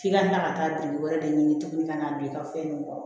F'i ka na ka taa biri wɛrɛ de ɲini tuguni ka na don i ka fɛn kɔrɔ